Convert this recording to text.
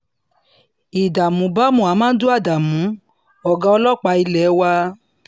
ìdààmú bá muhammadu adamu ọ̀gá ọlọ́pàá ilé wa